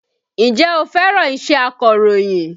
Ǹjẹ́ o fẹ́ràn iṣẹ́ akọ̀rọ̀yìn?